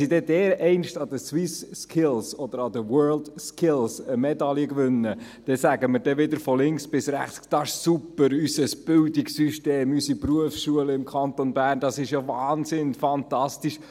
Wenn sie dann an den Swiss Skills oder den World Skills Medaillen gewinnen, sagen wir wieder von links bis rechts, unser Bildungssystem und unsere Berufsschulen im Kanton Bern seien fantastisch, es sei wahnsinnig und fantastisch.